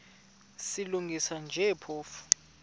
silungisa nje phofu